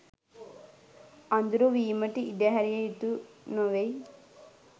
අඳුරු වීමට ඉඩ හැරිය යුතු නොවෙයි.